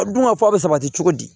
A dun ka fɔ a bi sabati cogo di